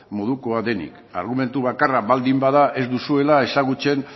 modukoa denik argumentu bakarra baldin bada ez duzuela ezagutzen